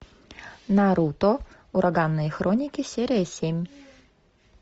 наруто ураганные хроники серия семь